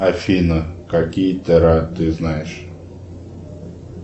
афина какие тера ты знаешь